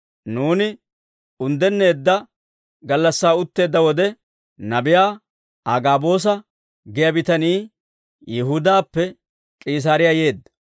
Nuuni unddenneedda gallassaa utteedda wode, nabiyaa Agaaboosa giyaa bitanii Yihudaappe K'iisaariyaa yeedda.